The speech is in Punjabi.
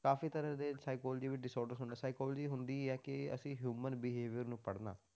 ਕਾਫ਼ੀ ਤਰ੍ਹਾਂ ਦੇ psychology ਵਿੱਚ disorders ਹੁੰਦੇ psychology ਹੁੰਦੀ ਹੈ ਕਿ ਅਸੀਂ human behaviour ਨੂੰ ਪੜ੍ਹਨਾ